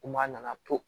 Kuma nana to